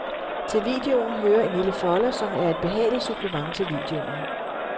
Til videoen hører en lille folder, som er et behageligt supplement til videoen.